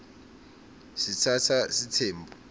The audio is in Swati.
sitsatsa sitsembu